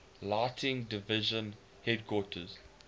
lighting division headquarters